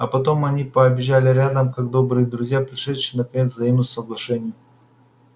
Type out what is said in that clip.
а потом они побежали рядом как добрые друзья пришедшие наконец к взаимному соглашению